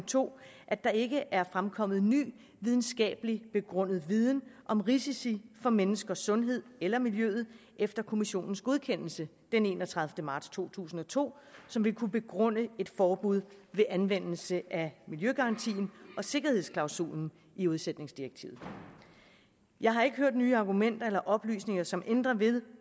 2 at der ikke er fremkommet ny videnskabeligt begrundet viden om risici for menneskers sundhed eller miljøet efter kommissionens godkendelse den enogtredivete marts to tusind og to som vil kunne begrunde et forbud ved anvendelse af miljøgarantien og sikkerhedsklausulen i udsætningsdirektivet jeg har ikke hørt nye argumenter eller oplysninger som ændrer ved